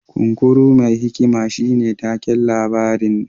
Kunkuru mai hikima shine taken labarin